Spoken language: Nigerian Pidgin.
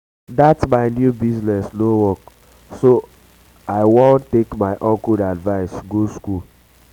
dat my new business no work so i wan so i wan take my uncle advice go school